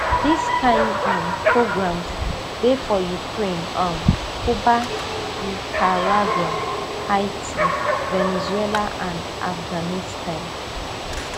dis kain um programmes dey for ukraine um cuba nicaragua haiti venezuela and afghanistan